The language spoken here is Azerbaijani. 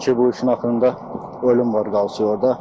Çünki bu işin axırında ölüm var, qalası orda.